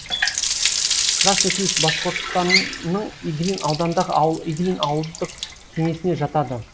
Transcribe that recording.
красный ключ башқұртстанның иглин ауданындағы ауыл иглин ауылдық кеңесіне жатады